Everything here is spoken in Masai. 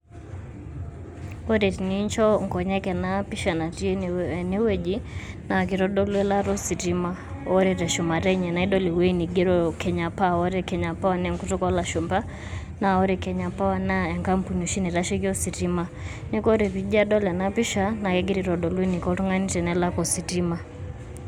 Ore tenicho nkonyek ena pisha natii ene wueji, naa kitodolu elaata ositima ore te shumata enye naa idol ewueji neigero Kenya power ore Kenya power naa ekutuk oo lashumba, naa ore Kenya power naa enkapuni oshi naitasheki ositima, neeku ore pii ajo adol ena pisha naa kegira aitodolu eniko oltungani tenelak ositima.